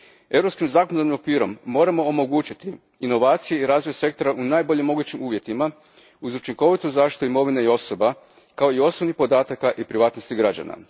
Europskim zakonodavnim okvirom moramo omogućiti inovacije i razvoj sektora u najboljim mogućim uvjetima, uz učinkovitu zaštitu imovine i osoba, kao i osobnih podataka i privatnosti građana.